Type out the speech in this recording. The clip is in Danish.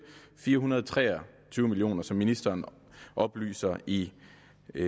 fire hundrede og tre og tyve million kr som ministeren oplyser i